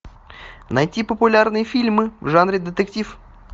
найти популярные фильмы в жанре детектив